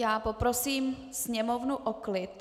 Já poprosím sněmovnu o klid.